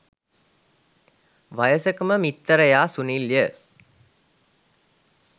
වයසකම මිත්තරයා සුනිල්ය.